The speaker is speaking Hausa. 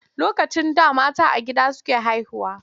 Lokacin da a gida mata suke haihuwa.